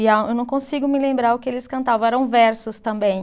E a, eu não consigo me lembrar o que eles cantavam, eram versos também.